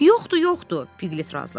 Yoxdur, yoxdur, Piklit razılaşdı.